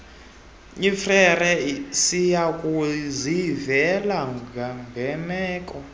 efrere siyokuzivela ngemeko